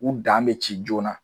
U dan bi ci joona.